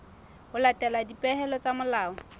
ho latela dipehelo tsa molao